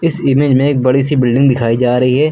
इस इमेज में एक बड़ी सी बिल्डिंग दिखाई जा रही है।